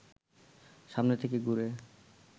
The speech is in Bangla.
সামনে থেকে ঘুরে